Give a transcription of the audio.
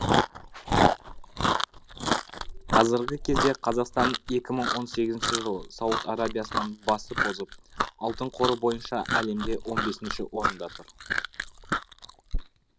қазіргі кезде қазақстан екі мың он сегізінші жылы сауд арабиясынан басып озып алтын қоры бойынша әлемде он бесінші орында тұр